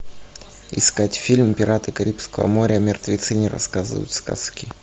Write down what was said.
искать фильм пираты карибского моря мертвецы не рассказывают сказки